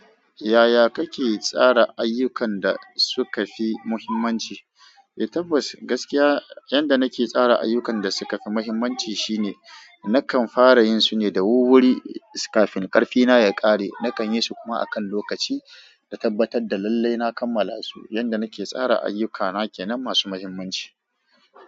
Yaya kake tsara ayyukan da suka fi muhimmanci? Eh. Tabbas, gaskiya yanda nake tsara ayukan da suka fi muhimmanci shi ne nakan fara yin su ne da wur-wuri kafin ƙarfina ya ƙare. Nakan yi su kuma a kan lokaci, na tabbatar da lallai na kammala su. Yanda nake tsara ayyuka na kenan masu muhimmanci.